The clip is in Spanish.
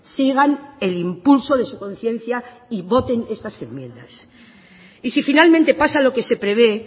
sigan el impulso de su conciencia y voten estas enmiendas y si finalmente pasa lo que se prevé